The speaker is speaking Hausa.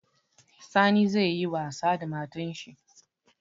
Sani zai yi wasa da matan shi